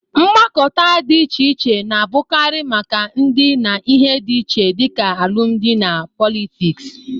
Mgbakọta dị iche iche na-abụkarị maka ndị na ihe dị iche dịka alụmdị na pọlịtịs